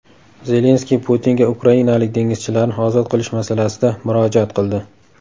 Zelenskiy Putinga ukrainalik dengizchilarni ozod qilish masalasida murojaat qildi.